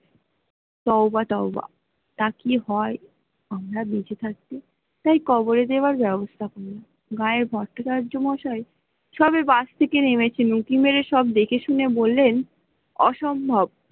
তউবা তউবা তাকি হয় আমরা বেঁচে থাকতে তাই কবরে দেওয়া্রা ব্যাবস্তা হয়, গ্রেয়ার ভট্টাচার্য মশাই সবে বাস থেকে নেমে ছিলেন উঁকি মেরে সব দেখে বললেন অসম্ভব।